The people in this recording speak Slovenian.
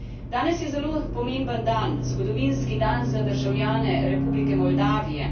Danes je zelo pomemben dan, zgodovinski dan za državljane Republike Moldavije.